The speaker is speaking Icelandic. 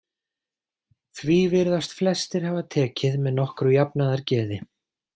Því virðast flestir hafa tekið með nokkru jafnaðargeði.